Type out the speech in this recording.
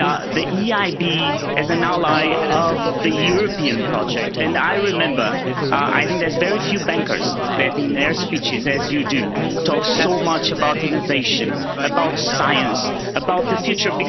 The EIB is an ally of the European project, and I remember I think there's very few bankers that in their speeches as you do, talk so much about innovation, about science, about the future.